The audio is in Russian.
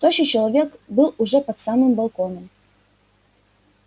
тощий человек был уже под самым балконом